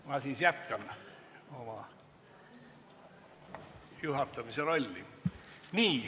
Ma siis jätkan juhatamise rolli.